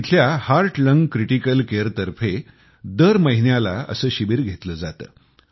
इथल्या heart lung critical care तर्फे दर महिन्यात असे शिबीर घेतले जाते